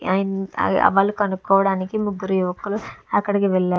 వాళ్ళు కనుక్కోవడానికి ముగ్గురు యువకులు అక్కడికి వెళ్లారు.